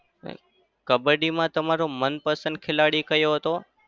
કબ્બડીમાં તમારો મનપસંદ ખેલાડી કયો હતો?